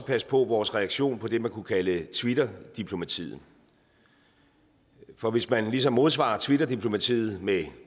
passe på vores reaktion på det man kunne kalde twitter diplomatiet for hvis man ligesom modsvarer twitter diplomatiet med